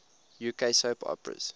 uk soap operas